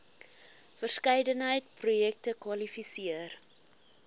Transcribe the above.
verskeidenheid projekte kwalifiseer